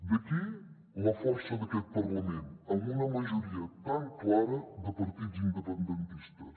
d’aquí la força d’aquest parlament amb una majoria tan clara de partits independentistes